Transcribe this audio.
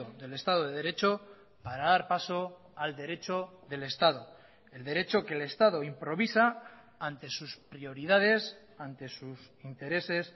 del estado de derecho para dar paso al derecho del estado el derecho que el estado improvisa ante sus prioridades ante sus intereses